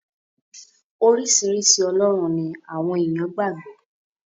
Oríṣiríṣi ọlọ́run ni àwọn èèyàn gbà gbọ́.